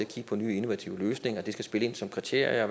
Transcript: kigge på nye innovative løsninger der skal spille ind som kriterie og